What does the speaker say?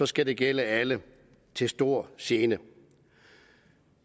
skal gælde alle til stor gene